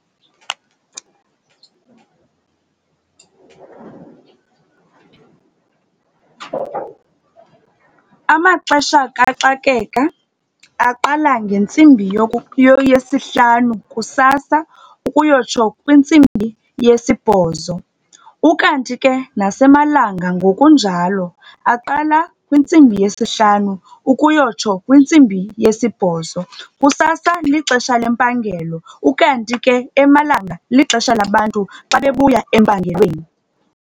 Amaxesha kaxakeka aqala ngentsimbi yesihlanu kusasa ukuyotsho kwintsimbi yesibhozo. Ukanti ke nasemalanga ngokunjalo, aqala kwintsimbi yesihlanu ukuyotsho kwintsimbi yesibhozo. Kusasa lixesha lempangelo, ukanti ke emalanga lixesha labantu xa bebuya empangelweni.